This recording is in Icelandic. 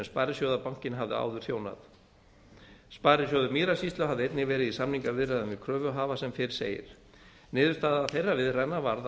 sparisjóðabankinn hafði áður þjónað sparisjóður mýrasýslu hafði einnig verið í samningaviðræðum við kröfuhafa sem fyrr segir niðurstaða þeirra viðræðna varð